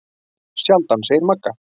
Sjaldan, segir Magga.